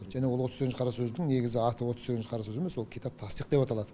және ол отыз сегізінші қара сөздің негізі аты отыз сегізінші қара сөз емес ол китаб тасдиқ деп аталады